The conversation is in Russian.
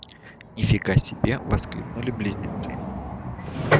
ни фига себе воскликнули близнецы